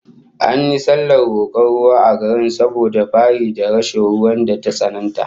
An yi sallar rokon ruwa a garin saboda fari da rashin ruwan da ta tsananta